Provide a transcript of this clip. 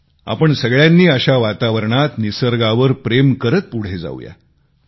चला आपण सगळ्यांनी अशा वातावरणात निसर्गावर प्रेम करीत पुढे जाऊ या